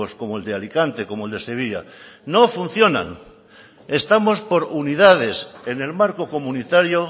como el de alicante como el de sevilla no funcionan estamos por unidades en el marco comunitario